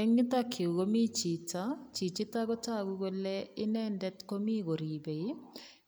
Eng yutok yu komi chito. Chichito kotagu kole inendet komi koripei